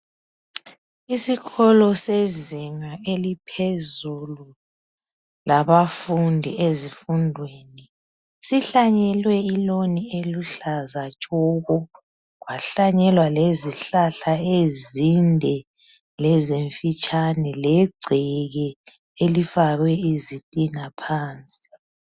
Isikolo sezinga eliphezulu labafundi ezifundweni, sihlanyelwe ilawn eluhlaza tshoko, kwahlanyelwa lezihlahla ezinde lezimfitshane legceke elifakwe izitina phansi.